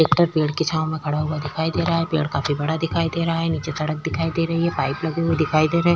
Tractor पेड़ की छांव में खड़ा हुआ दिखाई दे रहा है। पेड़ काफी बड़ा दिखाई दे रहा है। नीचे सड़क दिख रही है। पाइप लगी हुई दिखाई दे रहे --